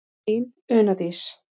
Þín Una Dís.